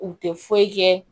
U tɛ foyi kɛ